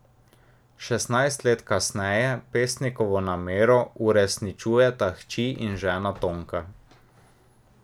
Šestnajst let kasneje pesnikovo namero uresničujeta hči in žena Tonka.